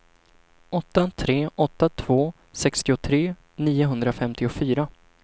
åtta tre åtta två sextiotre niohundrafemtiofyra